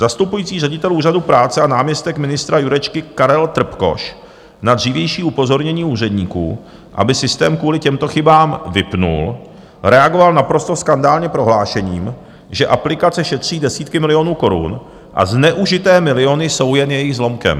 Zastupující ředitel Úřadu práce a náměstek ministra Jurečky Karel Trpkoš na dřívější upozornění úředníků, aby systém kvůli těmto chybám vypnul, reagoval naprosto skandálně prohlášením, že aplikace šetří desítky milionů korun a zneužité miliony jsou jen jejich zlomkem.